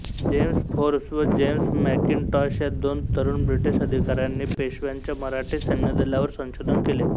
James Forbes व James Mackintosh या दोन तरुण ब्रिटिश अधिकाऱ्यांनी पेशव्यांच्या मराठी सैन्यदलावर संशोधन केले